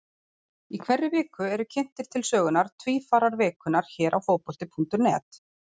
Í hverri viku eru kynntir til sögunnar Tvífarar vikunnar hér á Fótbolti.net.